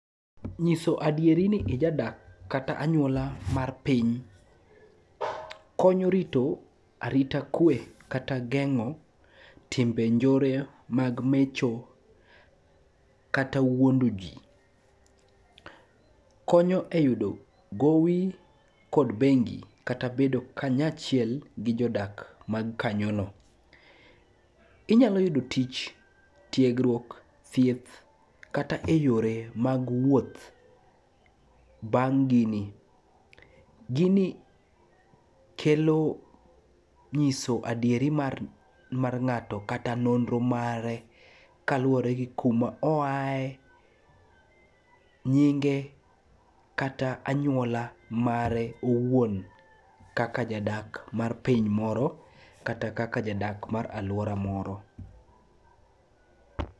Nyiso adieri ni ijadak kata anyuola mar piny konyo rito arita kwe kata geng'o timbe njore mag mecho kata wuondo ji. Konyo e yudo gowi kod bengi kata bedo kanyachiel gi jodak mag kanyono. Inyalo yudo tich, tiegruok, thieth kata e yore mag wuoth bang' gini. Gini kelo nyiso adieri mar nga'to kata nonro mare kaluwore gi kuma oaye, nyinge kata anyuola mare owuon kaka jadak mar piny moro kata kaka jadak mar alwora moro.